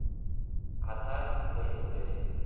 আঁধার হয়ে পড়েছে।